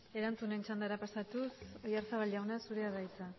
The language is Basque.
erantzunen txandara pasatuz oyarzabal jauna zurea da hitza